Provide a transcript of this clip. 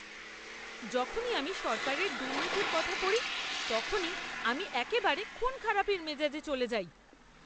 যখনই আমি সরকারের দুর্নীতির কথা পড়ি, তখনই আমি একেবারে খুনখারাপির মেজাজে চলে যাই।